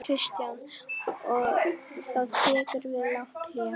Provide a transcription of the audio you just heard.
Kristján: Og þá tekur við langt hlé?